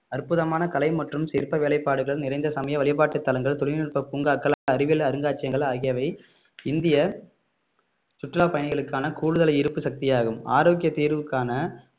அற்புதமான கலை மற்றும் சிற்ப வேலைப்பாடுகள் நிறைந்த சமய வழிபாட்டுத் தலங்கள் தொழில்நுட்ப பூங்காக்கள் அறிவியல் அருங்காட்சியங்கள் ஆகியவை இந்திய சுற்றுலா பயணிகளுக்கான கூடுதல் ஈர்ப்பு சக்தியாகும் ஆரோக்கியத் தீர்வுக்கான